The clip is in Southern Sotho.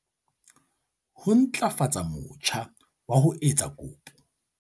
Ho ntlafatsa motjha wa ho etsa kopo